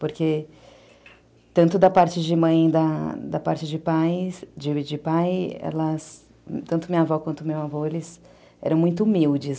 Porque tanto da parte de mãe e da da parte de pais, de pai, tanto minha avó quanto meu avô, eram muito humildes.